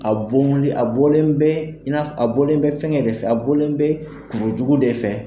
A bɔli, a bɔlen bɛ in na fɔ, a bɔlen bɛ fɛnkɛ de fɛ a bɔlen bɛ kuru jugu de fɛ.